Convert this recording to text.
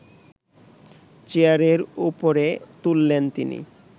চেয়ারের ওপরে তুললেন তিনি